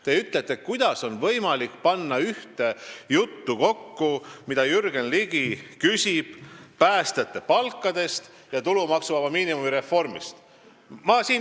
Te küsite, kuidas on võimalik panna ühte juttu kokku see, mida Jürgen Ligi küsib päästjate palkade ja tulumaksuvaba miinimumi reformi kohta.